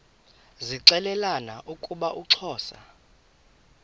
zixelelana ukuba uxhosa